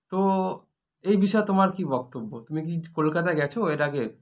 তো এইবিষয়ে তোমার কী বক্তব্য তুমি কী কলকাতায় গেছো এর আগে